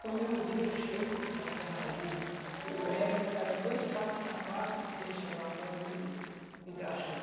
Quando é um dia, eu chego da serraria, o Hélio pega dois pares de sapato e deixa lá para mim engraxar.